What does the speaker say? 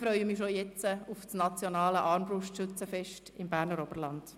Ich freue mich schon jetzt auf das nationale Armbrustschützenfest im Berner Oberland.